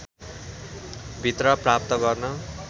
भित्र प्राप्त गर्न